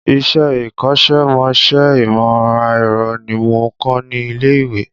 Ìṣe ikọ́sẹ́ ìmọ̀ ẹ̀rọ ni mo kà ní ilé ìwé